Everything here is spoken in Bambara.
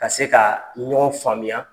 Ka se ka ɲɔgɔn faamuya.